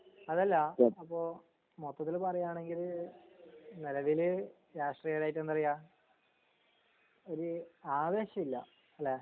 അതല്ല അപ്പൊ മൊത്തത്തിൽ പറയാണെങ്കിൽ നെലവിൽ രാഷ്ട്രീരായിട്ട് എന്താറയാ ഒര് ആവേശല്ല ല്ലേ